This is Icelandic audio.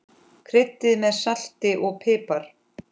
Kryddið með salti og pipar.